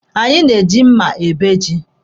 Anyi na-eji mma ebe ji.